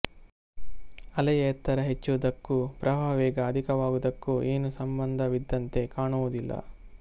ಅಲೆಯ ಎತ್ತರ ಹೆಚ್ಚುವುದಕ್ಕೂ ಪ್ರವಾಹ ವೇಗ ಅಧಿಕವಾಗುವುದಕ್ಕೂ ಏನೂ ಸಂಬಂಧವಿದ್ದಂತೆ ಕಾಣುವುದಿಲ್ಲ